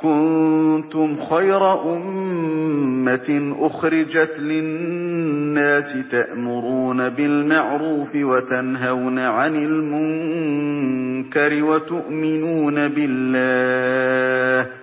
كُنتُمْ خَيْرَ أُمَّةٍ أُخْرِجَتْ لِلنَّاسِ تَأْمُرُونَ بِالْمَعْرُوفِ وَتَنْهَوْنَ عَنِ الْمُنكَرِ وَتُؤْمِنُونَ بِاللَّهِ ۗ